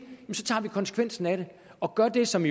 tager konsekvensen af det og gør det som